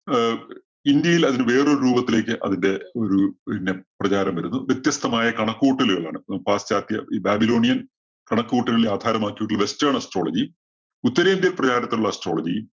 ആഹ് ഇന്ത്യയിൽ അതിന് വേറൊരു രൂപത്തിലേയ്ക് അതിന്റെ ഒരു ഒരു പിന്നെ പ്രചാരം വരുന്നു. വ്യത്യസ്തമായ കണക്കുകൂട്ടലുകളാണ്. പാശ്ചാത്യ ഈ babylonian കണക്കുകൂട്ടലുകളെ ആധാരമാക്കി ഒരു western astrology ഉത്തരേന്ത്യയിൽ പ്രചാരത്തിലുള്ള astrology